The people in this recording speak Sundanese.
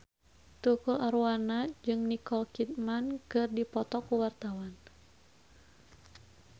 Tukul Arwana jeung Nicole Kidman keur dipoto ku wartawan